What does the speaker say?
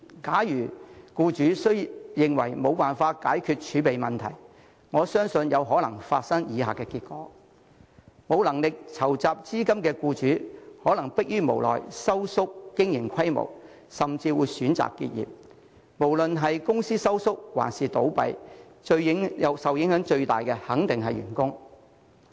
假如僱主認為無法解決儲備問題，我相信有可能會出現以下情況：無能力籌集資金的僱主，可能會逼於無奈縮減經營規模，甚至會選擇結業，而無論是公司縮減規模還是倒閉，受影響最大的肯定是員工。